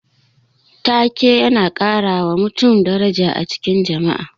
Ta-ke yana karawa mutum daraja a cikin jama'a.